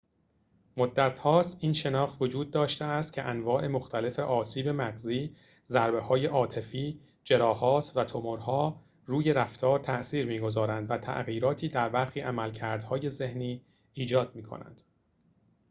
مدتهاست این شناخت وجود داشته است که انواع مختلف آسیب مغزی ضریه‌های عاطفی جراحات و تومورها روی رفتار تأثیر می‌گذارند و تغییراتی در برخی عملکردهای ذهنی ایجاد می‌کنند